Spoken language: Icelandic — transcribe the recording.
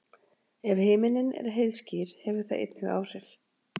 Ef himinninn er heiðskír hefur það einnig áhrif.